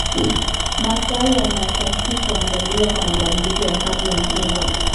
Mazao yanahitaji kuandaliwa kwa mabadiliko ya hali ya hewa.